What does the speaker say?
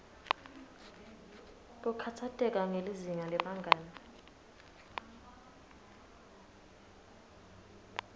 kukhatsateka ngelizinga lebangani